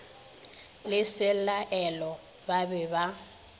le selaelo ba be ba